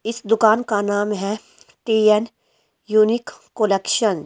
इस दुकान का नाम है टी_एन यूनिक कलेक्शन ।